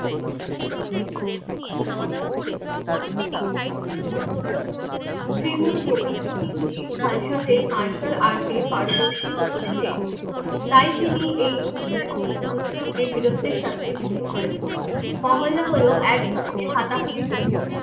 শ্রী গুরু গোবিন্দ সিং যে খালশাদের মার্শাল আর্টে পারদর্শী করতে চেয়েছিলেন তাই তিনি এই উপ সব উৎসব কে বীরত্বের সাথে যুক্ত করেছিলেন মহল্লা হল এক ধরনের হাতাহাতি যুদ্ধ